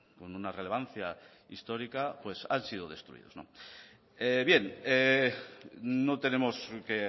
con una relevancia histórica pues han sido destruidos bien no tenemos que